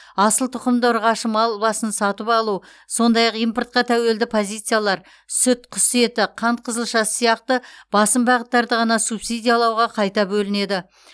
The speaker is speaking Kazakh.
асыл тұқымды ұрғашы мал басын сатып алу сондай ақ импортқа тәуелді позициялар сүт құс еті қант қызылшасы сияқты басым бағыттарды ғана субсидиялауға қайта бөлінеді